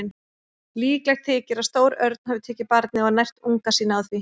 Líklegt þykir að stór örn hafi tekið barnið og nært unga sína á því.